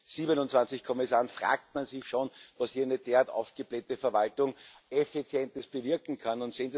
27 Kommissaren fragt man sich schon, was eine derart aufgeblähte Verwaltung Effizientes bewirken kann.